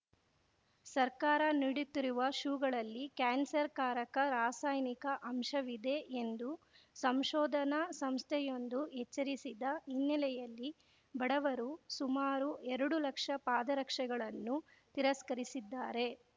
ಸರ್ಕಾರ ನೀಡುತ್ತಿರುವ ಶೂಗಳಲ್ಲಿ ಕ್ಯಾನ್ಸರ್‌ಕಾರಕ ರಾಸಾಯನಿಕ ಅಂಶವಿದೆ ಎಂದು ಸಂಶೋಧನಾ ಸಂಸ್ಥೆಯೊಂದು ಎಚ್ಚರಿಸಿದ ಹಿನ್ನೆಲೆಯಲ್ಲಿ ಬಡವರು ಸುಮಾರು ಎರಡು ಲಕ್ಷ ಪಾದರಕ್ಷೆಗಳನ್ನು ತಿರಸ್ಕರಿಸಿದ್ದಾರೆ